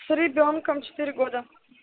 с ребёнком четыре года